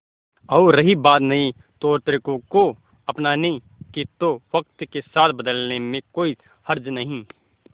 और रही बात नए तौरतरीकों को अपनाने की तो वक्त के साथ बदलने में कोई हर्ज नहीं